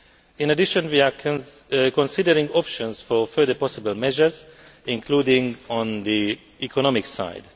In addition, we are considering options for further possible measures, including on the economic side.